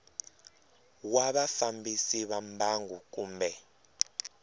wa vafambisi va mbangu kumbe